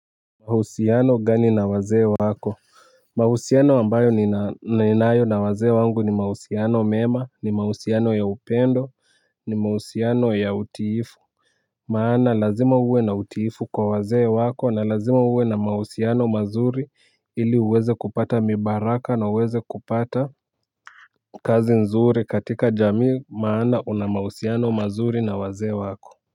Mahusiano gani na wazee wako. Mahusiano ambayo ninayo na wazee wangu ni mahusiano mema ni mauhusiano ya upendo ni mauhusiano ya utiifu. Maana lazima uwe na utiifu kwa wazee wako na lazima uwe na mauhusiano mazuri ili uweze kupata mibaraka na uweze kupata kazi nzuri katika jamii maana una mauhusiano mazuri na wazee wako.